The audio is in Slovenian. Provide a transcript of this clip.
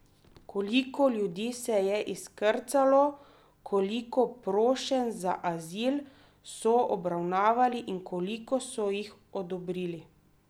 Koliko ljudi se je izkrcalo, koliko prošenj za azil so obravnavali in koliko so jih odobrili?